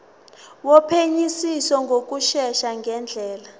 wophenyisiso ngokushesha ngendlela